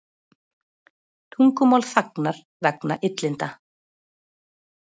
Tungumál þagnar vegna illinda